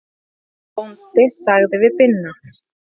Beinteinn bóndi sagði við Binna